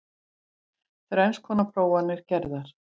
Þrenns konar prófanir gerðar